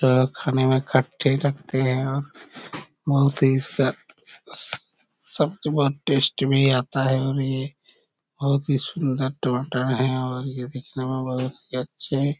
अ खाने मे खट्टे लगते हैं और बहुत ही स स स सब्जी बहुत टेस्ट भी आता है और ये बहुत ही सुंदर टमाटर है और ये दिखने मे बहुत ही अच्छे --